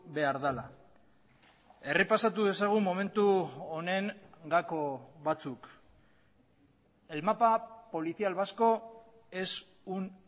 behar dela errepasatu dezagun momentu honen gako batzuk el mapa policial vasco es un